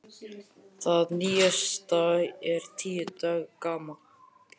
Það nýjasta er tíu daga gamalt.